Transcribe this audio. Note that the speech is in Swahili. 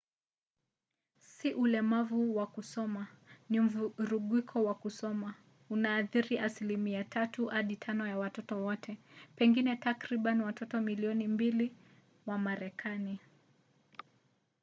si ulemavu wa kusoma ni mvurugiko wa kusoma; unaathiri asilimia 3 hadi 5 ya watoto wote pengine takriban watoto milioni 2 wa marekani